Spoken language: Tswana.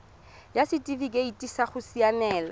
ya setifikeite sa go siamela